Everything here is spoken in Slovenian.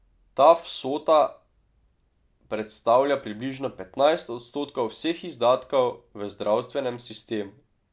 Ta vsota predstavlja približno petnajst odstotkov vseh izdatkov v zdravstvenem sistemu.